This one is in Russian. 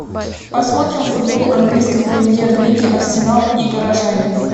посмотрим футбол английской премьер лиги арсенал и горожане